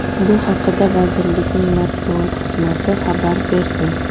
Bu haqda vazirlikning matbuot xizmati xabar berdi .